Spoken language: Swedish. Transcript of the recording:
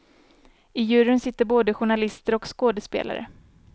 I juryn sitter både journalister och skådespelare.